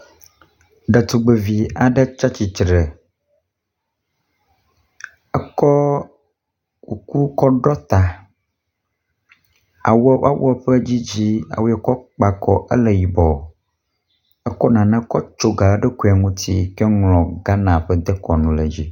Ɖetugbevi aɖe tsatsitre, ekɔ kuku kɔ ɖɔ ta, awuɔ woa wuɔ ƒe dzidzi awu ye wòkɔ kpa akɔ ele yibɔ. Ekɔ nane kɔ tso ga le eɖokuie ŋuti ka ŋlɔ Ghana ƒe dekɔnu ɖe dzi.